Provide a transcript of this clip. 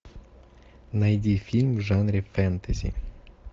найди фильм в жанре фэнтези